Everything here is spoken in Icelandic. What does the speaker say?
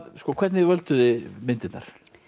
hvernig völduð þið myndirnar